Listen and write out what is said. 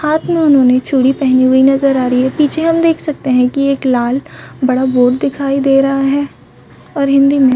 हाथ मे उन्होंने चूड़ी पहनी हुई नज़र आ रही है पीछे हम देख सकते है की एक लाल बड़ा बोर्ड दिखाई दे रहा है और हिंदी में--